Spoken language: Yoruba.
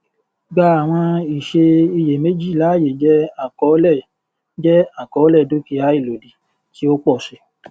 gbà àwọn ìṣe iyèméjì láàyè jẹ àkọọlẹ jẹ àkọọlẹ dúkìá ìlòdì tí ó pọ sí i